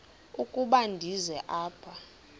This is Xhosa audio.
ukuba ndize apha